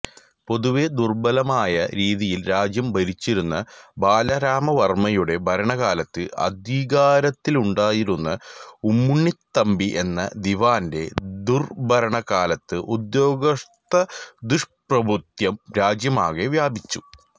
പൊതുവേ ദുർബലമായ രീതിയിൽ രാജ്യം ഭരിച്ചിരുന്ന ബാലരാമവർമ്മയുടെ ഭരണകാലത്ത് അധികാരത്തിലുണ്ടായിരുന്ന ഉമ്മിണിത്തമ്പി എന്ന ദിവാന്റെ ദുർഭരണകാലത്ത് ഉദ്യോഗസ്ഥദുഷ്പ്രഭുത്വം രാജ്യമാകെ വ്യാപിച്ചു